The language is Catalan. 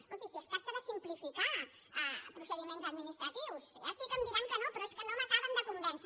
escolti si es tracta de simplificar procediments administratius ja sé que em diran que no però és que no m’acaben de convèncer